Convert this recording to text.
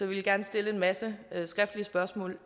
vil jeg stille en masse skriftlige spørgsmål